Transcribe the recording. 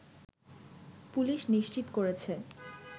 police নিশ্চিত করেছে